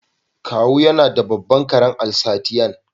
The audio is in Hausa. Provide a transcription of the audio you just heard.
Kawu yana da babban karen Alsatian.